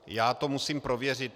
Já to musím prověřit.